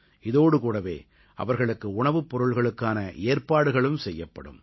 இதோடுகூடவே அவர்களுக்கு உணவுப் பொருள்களுக்கான ஏற்பாடுகளும் செய்யப்படும்